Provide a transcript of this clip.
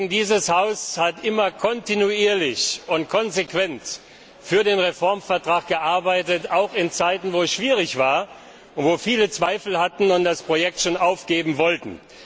Dieses Haus hat immer kontinuierlich und konsequent für den Reformvertrag gearbeitet, auch in Zeiten, in denen es schwierig war und Viele Zweifel hatten und das Projekt schon aufgeben wollten.